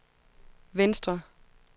venstre